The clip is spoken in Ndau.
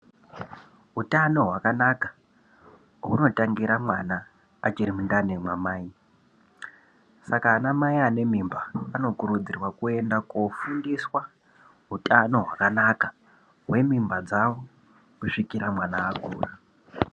Utano hwakanaka hunotangira mwana achiri mundani mwa mai saka ana mai ane mimba anokurudzirwa kuenda kofundiswa utano hwakanaka hwemimba dzawo kusvikira mwana akura.